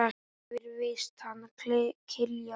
Þetta er víst hann Kiljan.